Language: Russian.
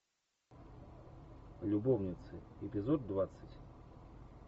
любовницы эпизод двадцать